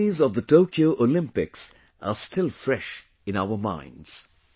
The memories of the Tokyo Olympics are still fresh in our minds